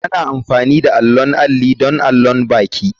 Ana amfani da allon alli don allon baki.